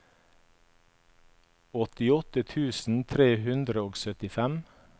åttiåtte tusen tre hundre og syttifem